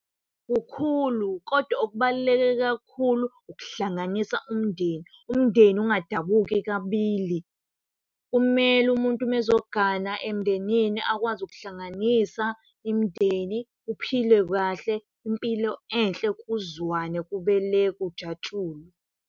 Kukhulu kodwa okubaluleke kakhulu ukuhlanganisa umndeni, umndeni ungadabuki kabili. Kumele umuntu uma ezogana emndenini akwazi ukuhlanganisa imndeni kuphilwe kahle impilo enhle kuzwane kube le kujatshulwe.